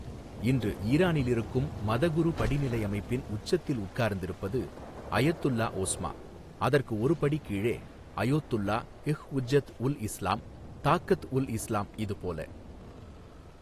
இன்று ஈரானில் இருக்கும் மதகுரு படிநிலை அமைப்பின் உச்சத்தில் உட்கார்ந்திருப்பது அயதுல்லா ஓஸ்மா அதற்கு ஒரு படி கீழே, அயோத்துல்லா ஹ்உஜ்ஜத் உல் இஸ்லாம், தாக்கத் உல் இஸ்லாம் இது போல.